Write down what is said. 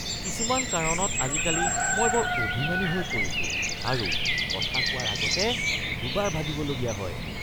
কিছুমান কাৰণত আজিকালি মই বৰ অভিমানী হৈ পৰিছো আৰু কথা কোৱাৰ আগতে দুবাৰ ভাবিবলগীয়া হয়।